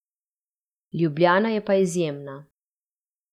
Ljubljana je pa izjemna.